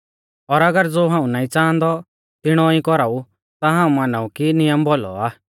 और अगर ज़ो हाऊं नाईं च़ांहादौ तिणौ ई कौराऊ ता हाऊं मानाऊं कि नियम भौलौ आ